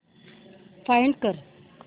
find कर